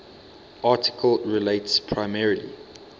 article relates primarily